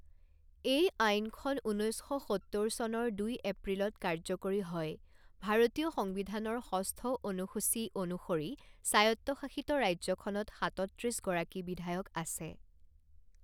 এই আইনখন ঊনৈছ শ সত্তৰ চনৰ দুই এপ্ৰিলত কাৰ্যকৰী হয়, ভাৰতীয় সংবিধানৰ ষষ্ঠ অনুসূচী অনুসৰি স্বায়ত্তশাসিত ৰাজ্যখনত সাতত্ৰিছ গৰাকী বিধায়ক আছে।